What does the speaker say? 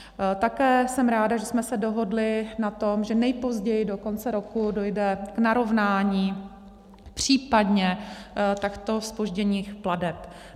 Také jsem ráda, že jsme se dohodli na tom, že nejpozději do konce roku dojde k narovnání případně takto zpožděných plateb.